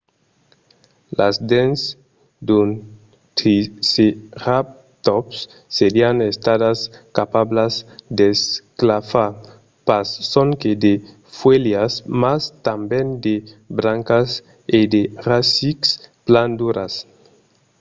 las dents d’un triceratòps serián estadas capablas d'esclafar pas sonque de fuèlhas mas tanben de brancas e de rasics plan duras